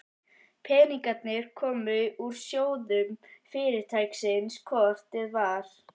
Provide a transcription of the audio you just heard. Peningarnir komu úr sjóðum Fyrirtækisins hvort eð var.